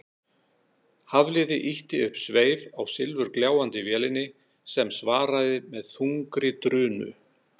Hafliði ýtti upp sveif á silfurgljáandi vélinni sem svaraði með þungri drunu.